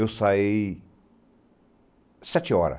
Eu saí sete hora.